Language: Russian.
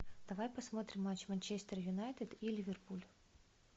давай посмотрим матч манчестер юнайтед и ливерпуль